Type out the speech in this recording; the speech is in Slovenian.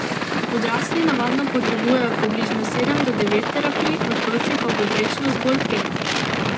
Odrasli navadno potrebujejo približno sedem do devet terapij, otroci pa povprečno zgolj pet.